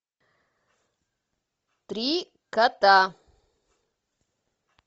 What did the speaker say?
три кота